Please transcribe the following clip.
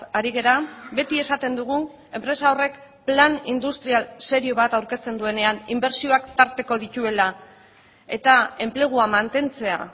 ari gara beti esaten dugu enpresa horrek plan industrial serio bat aurkezten duenean inbertsioak tarteko dituela eta enplegua mantentzea